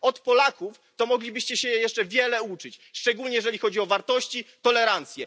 Od Polaków to moglibyście się jeszcze wiele uczyć, szczególnie jeżeli chodzi o wartości, tolerancję.